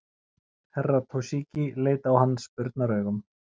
Herra Toshizi leit á hann spurnaraugum.